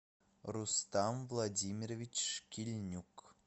рустам владимирович шкильнюк